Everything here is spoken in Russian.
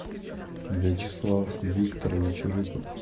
вячеслав викторович рыков